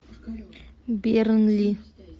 бернли